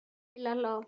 Milla hló.